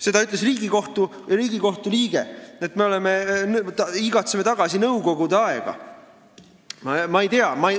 Seda ütles Riigikohtu liige, et me igatseme tagasi nõukogude aega.